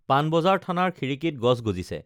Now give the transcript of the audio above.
পানবজাৰ থানাৰ খিড়িকীত গছ গজিছে